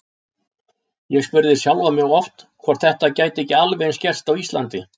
Ég spurði sjálfan mig oft hvort þetta gæti ekki alveg eins gerst á Íslandi.